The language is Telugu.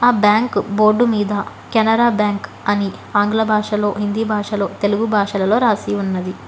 ఆ బ్యాంకు బోర్డు మీద కెనరా బ్యాంక్ అని ఆంగ్ల భాషలో హిందీ భాషలో తెలుగు భాషలలో రాసి ఉన్నది.